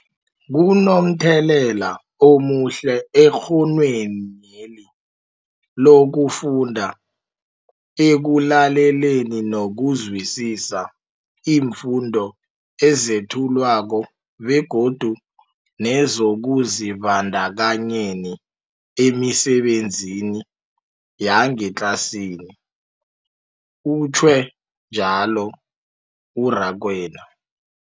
Kunomthelela omuhle ekghonweni lokufunda, ekulaleleni nokuzwisiswa iimfundo ezethulwako begodu nezokuzibandakanyeni emisebenzini yangetlasini, utjhwe njalo u-Rakwena.